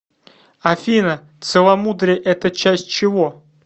афина целомудрие это часть чего